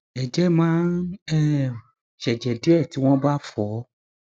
ẹjẹ má ń um ṣẹjẹ díẹ tí wọn bá fọ ọ